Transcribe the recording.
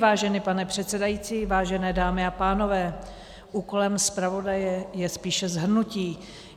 Vážený pane předsedající, vážené dámy a pánové, úkolem zpravodaje je spíše shrnutí.